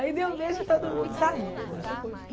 Aí eu dei um beijo em todo mundo e saí.